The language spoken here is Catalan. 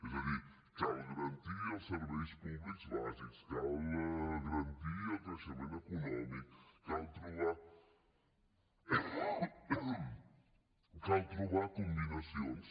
és a dir cal garantir els serveis públics bàsics cal garantir el creixement econòmic cal trobar combinacions